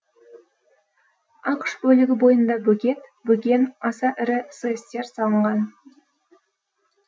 ақш бөлігі бойында бөгет бөген аса ірі сэс тер салынған